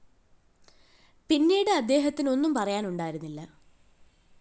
പിന്നീട് അദ്ദേഹത്തിന് ഒന്നും പറയാനുണ്ടായിരുന്നില്ല